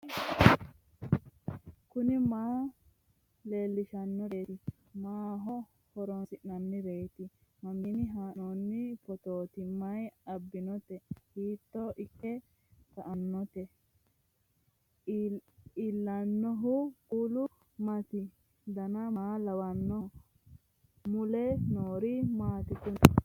kuri maa leellishannoreeti maaho horoonsi'noonnireeti mamiinni haa'noonni phootooti mayi abbinoote hiito ikke kainote ellannohu kuulu maati dan maa lawannoho mule noori maati kuni